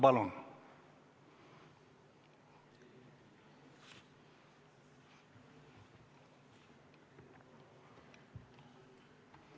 Palun!